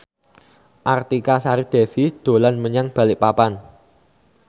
Artika Sari Devi dolan menyang Balikpapan